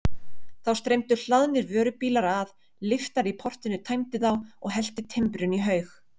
Þá streymdu hlaðnir vörubílar að, lyftari í portinu tæmdi þá og hellti timbrinu í haug.